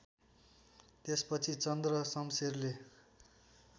त्यसपछि चन्द्रशमशेरले